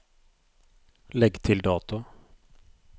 Legg til dato